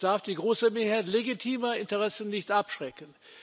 es darf die große Mehrheit legitimer Interessen nicht abschrecken.